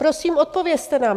Prosím, odpovězte nám.